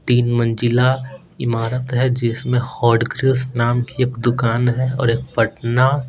तीन मंजिला इमारत है जिसमें हॉट कृष्ण नाम की एक दुकान है और एक पटना--